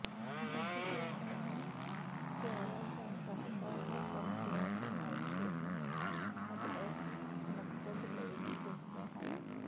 ਡਿਜੀਟਲਾਈਆਂ ਨੂੰ ਖੁਆਇਆ ਜਾ ਸਕਦਾ ਹੈ ਕੰਪਲੇਟ ਨਾਈਟ੍ਰੋਜਨ ਖਾਦ ਇਸ ਮਕਸਦ ਲਈ ਢੁਕਵੇਂ ਹਨ